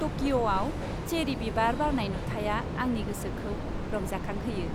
टकिअ'आव चेरि बिबार बारनाय नुथाइया आंनि गोसोखौ रंजाखांहोयो।